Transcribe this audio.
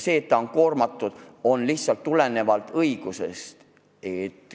See, et ta on tasuga koormatud, tuleneb lihtsalt õigusest.